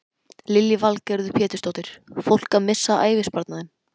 Lillý Valgerður Pétursdóttir: Fólk að missa ævisparnaðinn?